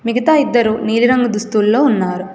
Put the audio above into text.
మిగతా ఇద్దరు నీలిరంగు దుస్తుల్లో ఉన్నారు.